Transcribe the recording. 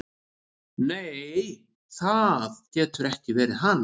"""Nei, það getur ekki verið hann."""